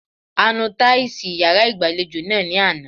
A nu táìsì yàrá ìgbàlejò náà ní àná.